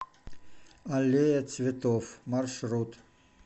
аллея цветов маршрут